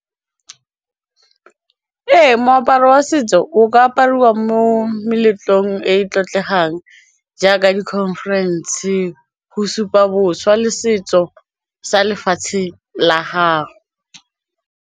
Ee, moaparo wa setso o ka apariwa mo meletlong e e tlotlegang jaaka di-conference go supa boswa le setso sa lefatshe la gago.